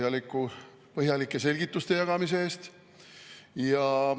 Tänud põhjalike selgituste jagamise eest!